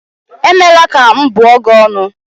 Emela ka m bụọ gị ọnụ